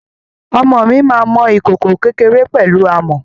Ọmọ mi máa mọ ìkòkò kékéré pẹ̀lú amọ̀.